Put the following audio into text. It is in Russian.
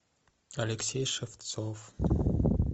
алексей шевцов